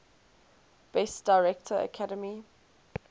best director academy